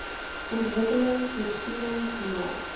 ontwikkeling voorsiening gemaak